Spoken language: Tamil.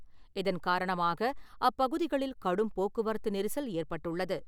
இதன் காரணமாக அப்பகுதிகளில் கடும் போக்குவரத்து நெரிசல் ஏற்பட்டுள்ளது.